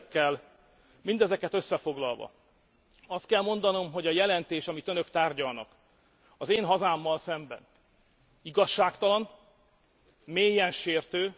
Mindezeket összefoglalva azt kell mondanom, hogy a jelentés, amit Önök tárgyalnak az én hazámmal szemben igazságtalan, mélyen sértő.